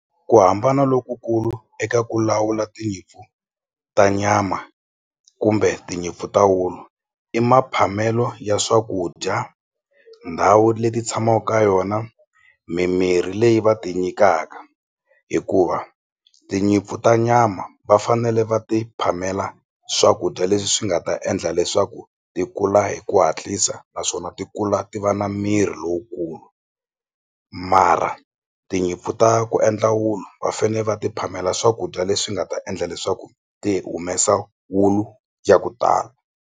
Ku hambana lokukulu eka ku lawula tinyimpfu ta nyama kumbe tinyimpfu ta wulu i maphamelo ya swakudya ndhawu leti tshamaku ka yona mimirhi leyi va ti nyikaka hikuva tinyimpfu ta nyama va fanele va ti phamela swakudya leswi swi nga ta endla leswaku ti kula hi ku hatlisa naswona ti kula ti va na miri lowukulu mara tinyimpfu ta ku endla wulu va fane va ti phamela swakudya leswi nga ta endla leswaku ti humesa wulu ya ku tala.